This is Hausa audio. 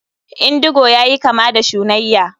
Indigo yayi kama da shunayya.